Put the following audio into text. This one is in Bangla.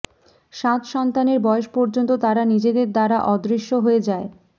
সাত সন্তানের বয়স পর্যন্ত তারা নিজেদের দ্বারা অদৃশ্য হয়ে যায়